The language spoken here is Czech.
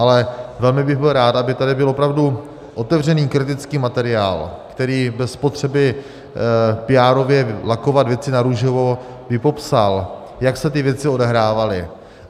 Ale velmi bych byl rád, aby tady byl opravdu otevřený kritický materiál, který bez potřeby píárově lakovat věci narůžovo by popsal, jak se ty věci odehrávaly.